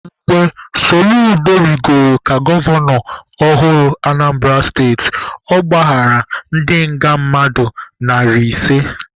Mgbe Soludo rigoro ka gọvanọ ọhụrụ Anambara steti, ọ gbaghara ndị nga mmadụ narị ise.